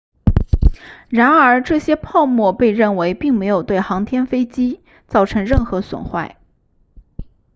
然而这些泡沫被认为并没有对航天飞机造成任何损坏